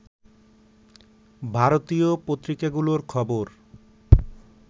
ভারতীয় পত্রিকাগুলোর খবর